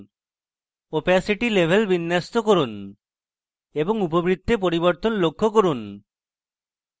opacity level বিন্যস্ত করুন এবং উপবৃত্তে পরিবর্তন লক্ষ্য করুন